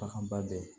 Baganba bɛ yen